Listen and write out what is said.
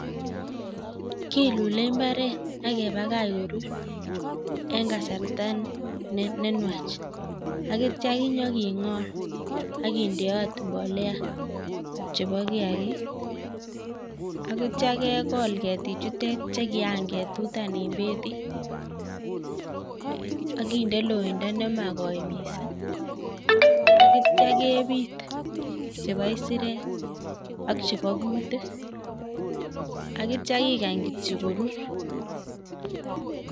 Kilule mbaret akepakach korur eng' kasarta nenwach akitcha kinyoking'or, akindeat mbolea chebo kiagik akitcha kekol ketik chute chekiaketutan ing' akinde loindo nemakoi miising' akitcha kebiit chebo kisirek ak chebo kutik akitcha kikany kityo korur